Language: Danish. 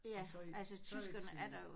Altså i før i tiden